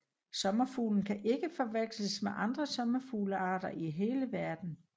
Sommerfuglen kan ikke forveksles med andre sommerfuglearter i hele verden